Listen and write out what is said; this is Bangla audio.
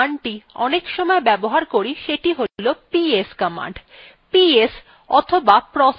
processes সম্পর্কে আমরা the command অনেকসময় ব্যবহার করি সেটি হলো ps command